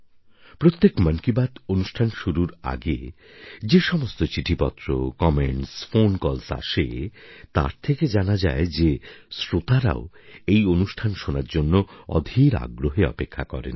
প্রত্যেক মন কি বাত অনুষ্ঠান শুরুর আগে যে সমস্ত চিঠিপত্র কমেন্টস ফোন কলস আসে তার থেকে জানা যায় যে শ্রোতারাও এই অনুষ্ঠান শোনার জন্য অধীর আগ্রহে অপেক্ষা করেন